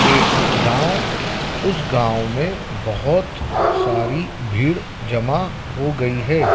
एक गांव उस गांव में बहुत सारी भीड़ जमा हो गई है।